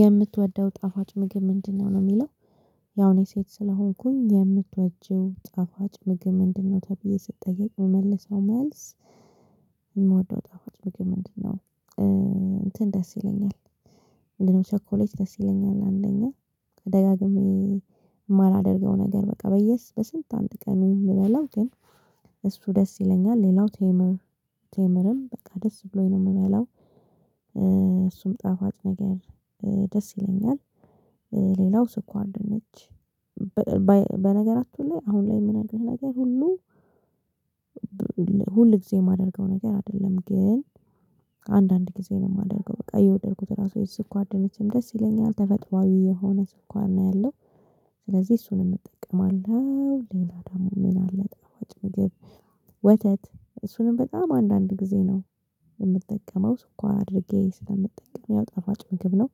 የምትወደው ጣፋጭ ምግብ ምንድነው ነው የሚለው ያው እኔ ሴት ስለሆንኩኝ የምትወጂው ጣፋጭ ምግብ ምንድነው ተብዬ ስትጠየቅ የምመልሰው መልስ የምወደው ጣፋጭ ምግብ ምንድ ነው? እንትን ደስ ይለኛል ምንድነው ሰኮሌጅ ደስ ይለኛል አንደኛ ደጋግሜ የማላደርገው ነገር በቃ በየስ በስንት አንድ ቀን የሚበላው ግን እሱ ደስ ይለኛል ሌላው ቴምር ቴምርም በቃ ደስ ብሎኝ ነው የምበላው እሱም ጣፋጭ ነገር ደስ ይለኛል ሌላው ስኳር ድንች በነገራቹ ላይ አሁን ላይ የምነግርህ ነገር ሁሉ ሁል ጊዜ የማደርገው ነገር አይደለም ግን አንዳንድ ጊዜ ነው የማደርገው በቃ የወደድኩት ራሱ የስኳር ድንችም ደስ ይለኛል ተፈጥሮአዊ የሆነ ስኳር ነው ያለው ስለዚህ እሱንም እጠቀማለሁ ሌላ ደግሞ ምን አለ ጣፉጭ ምግብ? ወተት እሱንም በጣም አንዳንድ ጊዜ ነው የምጠቀመው ስኳር አድርጌ ስለምጠቀመው ያው ጣፋጭ ምግብ ነው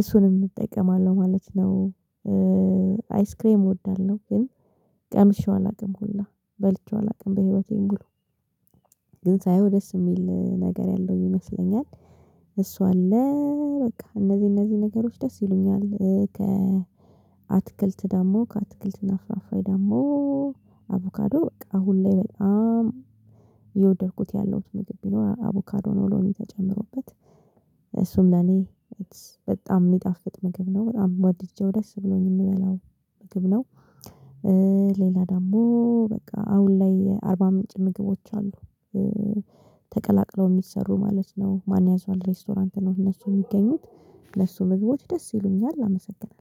እሱንም እጠቀማለሁ ማለት ነው አይስክሬም እወዳለሁ ግን ቀምሼው አላውቅም ሁላ በልቼው አላውቅም በህይወቴን ሙሉ ግን ሳየው ደስ የሚል ነገር ያለው ይመስለኛል እሱ አለ በቃ እነዚህ እነዚህ ነገሮች ደስ ይሉኛል ከ አትክልት ደግሞ ከአትክልት እና ፍራፍሬ ደግሞ አቮካዶ በቃ አሁን ላይ በጣም እየወደድኩት ያለሁት ምግብ ቢኖር አቮካዶ ነው ሎሚ ተጨምሮበት እሱም ለኔ በጣም የሚጣፍጥ ምግብ ነው በጣም ወድጄው ደስ ብሎኝ የምበላው ምግብ ነው ሌላ ደግሞ በቃ አሁን ላይ አርባ ምንጭ ምግቦች አሉ እ ተቀላቅለው የሚሰሩ ማለት ነው ማንያዟል ሬስቶራንት ነው እነሱ የሚገኙት እነሱ ምግቦች ደስ ይሉኛል አመሰግናለሁ።